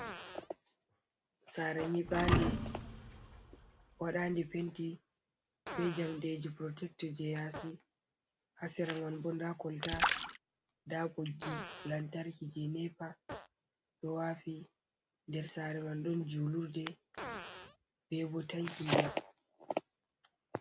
Saare nyibande waɗanande penti be jamdeji protectu je yasi, ha sera man bo nda kolta nda boggi lantarki je nepa do wafi, nder saare man ɗon julurde bebo tanki.